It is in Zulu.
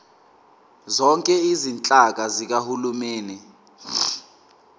zonke izinhlaka zikahulumeni